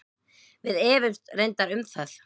Við efumst reyndar um það.